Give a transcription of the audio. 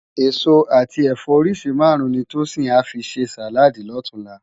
Esó ati ẹfọ óriṣi márùn ni Tosin à fi sé sáládì lòtúnlá